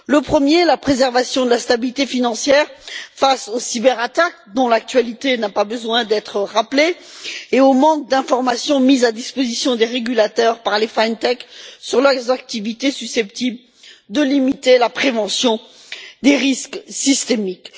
Tout d'abord, la préservation de la stabilité financière face aux cyberattaques dont l'actualité n'a pas besoin d'être rappelée et au manque d'informations mises à disposition des régulateurs par les FinTech sur leurs activités susceptibles de limiter la prévention des risques systémiques.